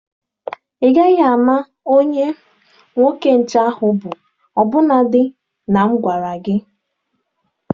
Ị gaghị ama onye nwoke nche ahụ bụ ọbụnadi na m agwara gị.